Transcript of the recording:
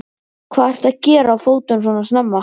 Hvað ertu að gera á fótum svona snemma?